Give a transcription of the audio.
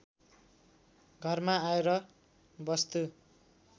घरमा आएर वस्तु